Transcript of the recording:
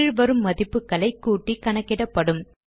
கீழ் வரும் மதிப்புகளை கூட்டி கணக்கிடப்படும்